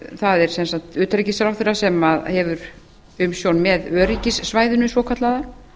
það er sem sagt utanríkisráðherra sem hefur umsjón með öryggissvæðinu svokallaða